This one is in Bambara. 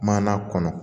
Mana kɔnɔ